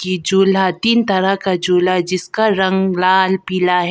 ई झूला तीन तरह का झूला जिसका रंग लाल पीला है।